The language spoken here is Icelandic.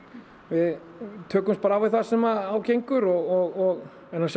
við tökumst bara á við það sem á gengur og